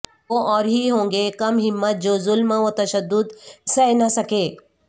وہ اور ہی ہوں گے کم ہمت جو ظلم وتشدد سہہ نہ سکے